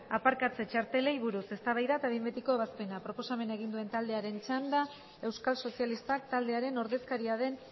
aparkatze txartelei buruz eztabaida eta behin betiko ebazpena proposamena egin duen taldearen txanda euskal sozialistak taldearen ordezkaria den